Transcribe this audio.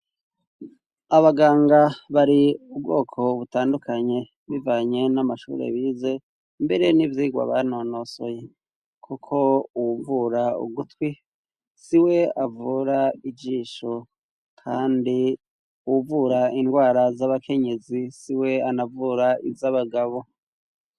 Abaganga bari ubwoko butandukanye, bivanye n'amashuri bize mbere n'ivyirwa banonosoye ,kuko uwuvura ugutwi, si we avura ijisho ,kandi uwuvura indwara z'abakenyezi, si we anavura iz'abagabo.